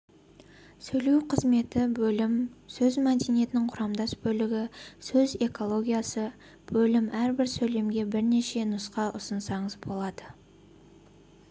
сөйлеу қызметі бөлім сөз мәдениетінің құрамдас бөлігі сөз экологиясы бөлім әрбір сөйлемге бірнеше нұсқа ұсынсаңыз болады